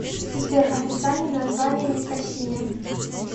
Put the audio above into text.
сбер официальное название никосия